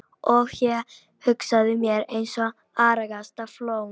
Og ég hagaði mér eins og argasta flón.